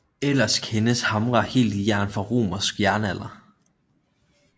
Ellers kendes hamre helt i jern fra romersk jernalder